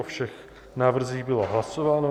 O všech návrzích bylo hlasováno.